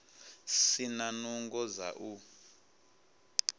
si na nungo dza u